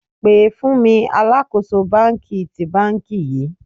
pe fun mi alakoso banki ti banki yii!